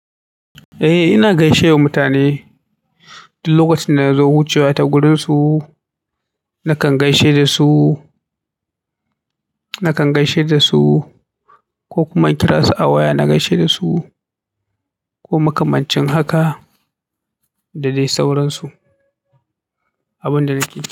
Eh ina gaishe wa mutane duk lokacin da na zo wucewa ta gurin su, nakan gaishe da su, nakan gaishe da su ko kuma in kira su a waya na gaishe da su ko makamancin haka da dai sauransu, abin da nake yi.